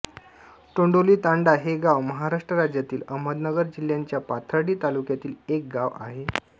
टोंडोली तांडा हे गाव महाराष्ट्र राज्यातील अहमदनगर जिल्हाच्या पाथर्डी तालुक्यातील एक गाव आहे